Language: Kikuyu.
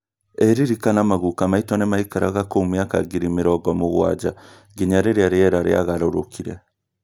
irĩrĩkana maguka maitũ nĩmaikaraga kũu mĩaka ngiri mĩrongo mũgwanja nginya rĩrĩa rĩera rĩagarũrũkire